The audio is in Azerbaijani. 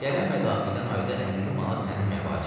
Gələn mədaxildən ayda 50 manat sənin məvacibin.